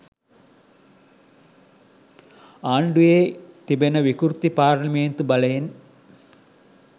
ආණ්ඩුවේ තිබෙන විකෘති පාර්ලිමේන්තු බලයෙන්